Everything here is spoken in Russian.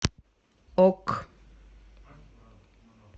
ок